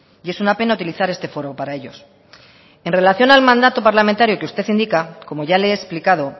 y es una pena utilizar este foro para ellos en relación al mandato parlamentario que usted indica como ya le he explicado